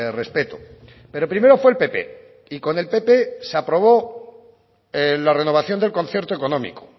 respeto pero primero fue el pp y con el pp se aprobó la renovación del concierto económico